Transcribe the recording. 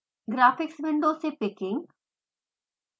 graphics window से picking